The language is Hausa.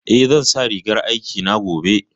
Eh, zan sa rigar aikina gobe